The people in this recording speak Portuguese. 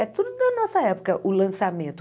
É tudo da nossa época, o lançamento.